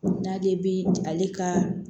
N'ale bi ale ka